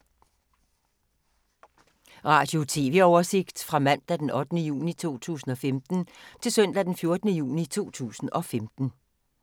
Radio/TV oversigt fra mandag d. 8. juni 2015 til søndag d. 14. juni 2015